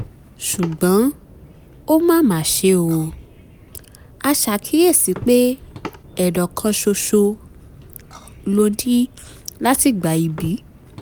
ṣùgbọ́n ó mà mà ṣe o a ṣàkíyèsí pé ệdọ̀ kan ṣoṣo ló ní láti ìgbà íbí